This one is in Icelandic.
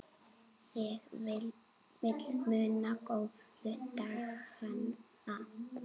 Ég vil muna góðu dagana.